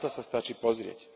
Na to sa stačí pozrieť.